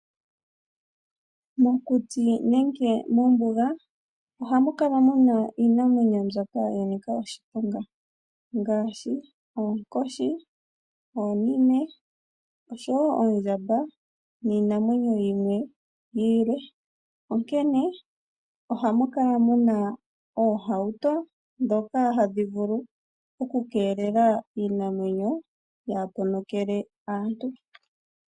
Mokuti nenge mombuga ohamu kala muna iinamwenyo mbyoka yanika oshiponga ngaashi oonkoshi, oondjamba oshowo iinamwenyo yilwe. Onkene ohamu kala muna oohauto ndhoka hadhi vulu oku keelela iinamwenyo yaaponokele aantu.